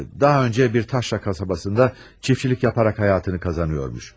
Daha önce bir taşra kasabasında çiftçilik yaparak hayatını kazanıyormuş.